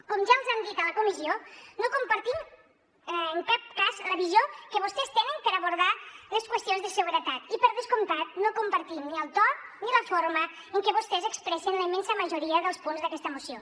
com ja els hem dit a la comissió no compartim en cap cas la visió que vostès tenen per abordar les qüestions de seguretat i per descomptat no compartim ni el to ni la forma en què vostès expressen la immensa majoria dels punts d’aquesta moció